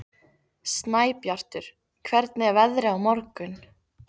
Snæbjartur, hvernig er veðrið á morgun?